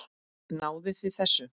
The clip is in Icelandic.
Náðuð þið þessu?